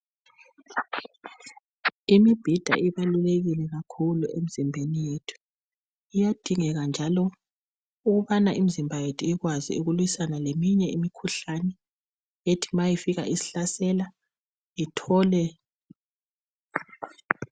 Imibhida ibalulekile kakhulu emzimbeni yethu, kuyadingeka njalo ukubana imzimba yethu ikwazi ukulwisana leminye imikhuhlane ethi mayifika isihlasela ithole.